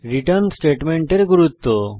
return স্টেটমেন্টের গুরূত্ব